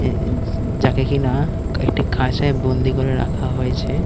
এ এ উ যাকে কিনা-আ একটি খাঁচায় বন্দি করে রাখা হয়েছে।